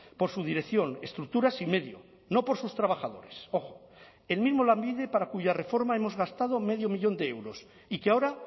por su dirección estructuras y medio no por sus trabajadores ojo el mismo lanbide para cuya reforma hemos gastado medio millón de euros y que ahora